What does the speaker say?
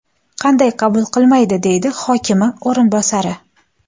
Qanday qabul qilmaydi?” deydi hokimi o‘rinbosari.